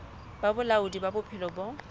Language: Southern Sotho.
ba bolaodi ba bophelo bo